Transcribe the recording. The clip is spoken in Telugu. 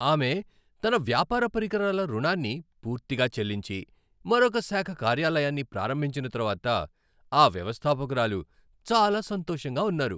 ఆమె తన వ్యాపార పరికరాల రుణాన్ని పూర్తిగా చెల్లించి, మరొక శాఖ కార్యాలయాన్ని ప్రారంభించిన తర్వాత ఆ వ్యవస్థాపకురాలు చాలా సంతోషంగా ఉన్నారు.